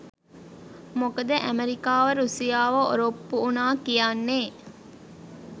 මොකද ඇමරිකාව රුසියාව ඔරොප්පු වුණා කියන්නෙ